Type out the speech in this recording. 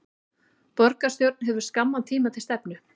Borgarstjórn hefur skamman tíma til stefnu